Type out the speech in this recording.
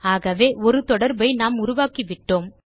ஆகவே ஒரு தொடர்பை நாம் உருவாக்கிவிட்டோம்